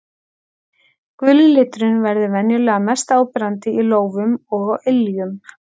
Guli liturinn verður venjulega mest áberandi í lófum og á iljum.